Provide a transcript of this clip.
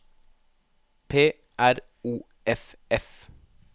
P R O F F